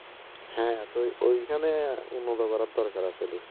হ্যাঁ ঐখানে উন্নত করার দরকার আসলে